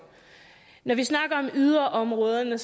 når vi snakker om yderområderne